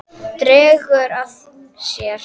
Dregur að sér.